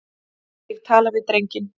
Ég tala við drenginn.